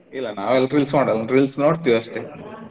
ಇಲ್ಲಾ ನಾವ ಎಲ್ಲ reels ಮಾಡಲ್ಲಾ reels ನೋಡ್ತೀವಿ ಅಷ್ಟೇ.